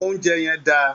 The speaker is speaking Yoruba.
Oúnjẹ yẹn dà!